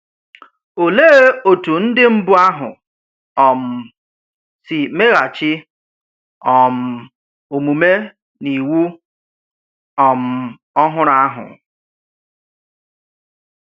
Ólèé òtú ndí̀ mbù̄ ahụ̀ um sì meghàchì um òmúmè n’ìwù um ọ̀hụrụ̀ ahụ̀?